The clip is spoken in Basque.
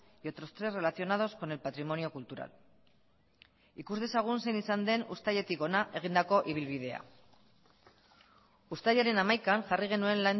y otros tres relacionados con el patrimonio cultural ikus dezagun zein izan den uztailetik hona egindako ibilbidea uztailaren hamaikan jarri genuen